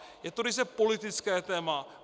Je to ryze politické téma.